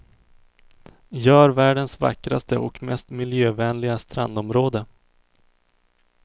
Gör världens vackraste och mest miljövänliga strandområde.